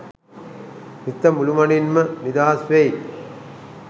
සිත මුළුමනින්ම නිදහස්වෙයි